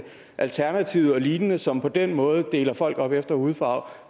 alternativet og lign som på den måde deler folk op efter hudfarve